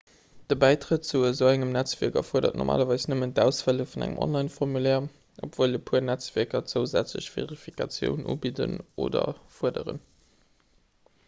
de bäitrett zu esou engem netzwierk erfuerdert normalerweis nëmmen d'ausfëlle vun engem onlineformulaire obwuel e puer netzwierker zousätzlech verifikatiounen ubidden oder fuerderen